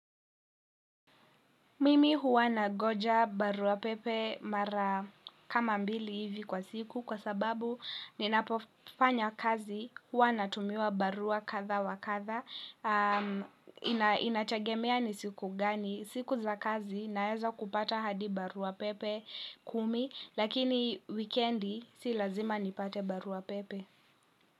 Mimi huwa nangoja barua pepe mara kama mbili hivi kwa siku kwa sababu ninapofanya kazi huwa natumiwa barua kadha wa kadha. Inategemea ni siku gani. Siku za kazi naweza kupata hadi barua pepe kumi lakini weekendi si lazima nipate barua pepe.